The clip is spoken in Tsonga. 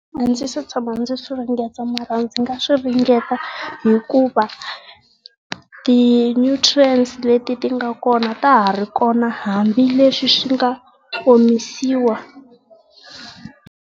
A ndzi se tshama ndzi swi ringeta mara ndzi nga swi ringeta hikuva ti nutrients leti ti nga kona ta ha ri kona hambileswi swi nga omisiwa.